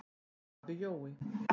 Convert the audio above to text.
Afi Jói.